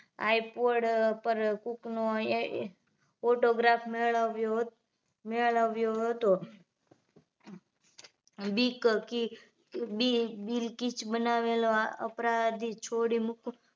Ipod પર cook નો photograph મેળવ્યો હત મેળવ્યો હતો બીક કી bill keach બનાવેલો અપરાધી છોડી મૂક્યો